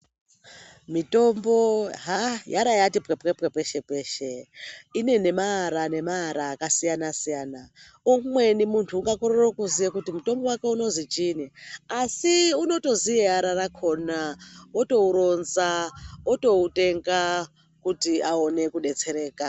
Mitombo haa yarayati pwepwepwe peshe peshe. Ine nemaara nemaara akasiyana siyana. Umweni munhu ungatokorere kuziye kuti mutombo wake unozwi chiinyi asi unotoziye ara rakhona otouronza otoutenga kuti aone kudetsereka.